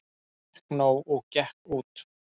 Fékk nóg og gekk út